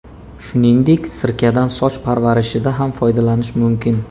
Shuningdek, sirkadan soch parvarishida ham foydalanish mumkin.